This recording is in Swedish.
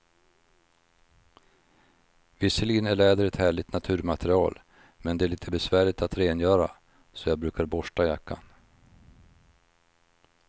Visserligen är läder ett härligt naturmaterial, men det är lite besvärligt att rengöra, så jag brukar borsta jackan.